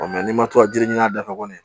n'i ma to jiri ɲina a da fɛ kɔni